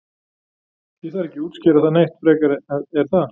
Ég þarf ekkert að útskýra það neitt frekar er það?